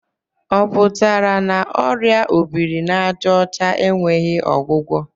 Ọ pụtara na ọrịa obiri n'àjà ọcha enweghị ọgwụgwọ?